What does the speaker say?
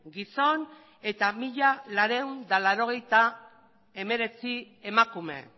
gizon eta mila laurehun eta laurogeita hemeretzi emakume